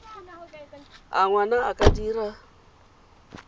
a ngwana a ka dira